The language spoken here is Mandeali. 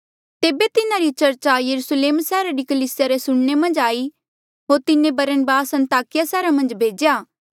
तेबे तिन्हारी चर्चा यरुस्लेम सैहरा री कलीसिया रे सुणने मन्झ आई होर तिन्हें बरनबास अन्ताकिया सैहरा मन्झ भेज्या